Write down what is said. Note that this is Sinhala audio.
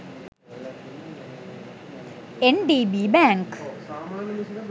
ndb bank